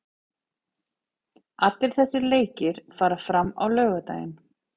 Allir þessir leikir fara fram á laugardaginn.